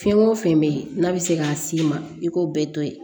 Fɛn o fɛn bɛ yen n'a bɛ se k'a s'i ma i k'o bɛɛ to yen